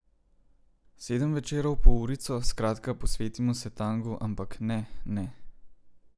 Sedem večerov po urico, skratka, posvetimo se tangu, ampak ne, ne.